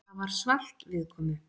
Það var svalt viðkomu.